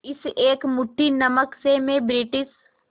इस एक मुट्ठी नमक से मैं ब्रिटिश